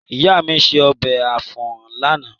Ìyá mi se ọbẹ̀ àpọ̀n lánàá.